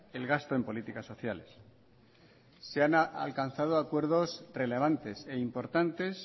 el gasto en políticas sociales se han alcanzado acuerdos relevantes e importantes